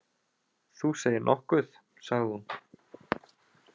Þú segir nokkuð, sagði hún.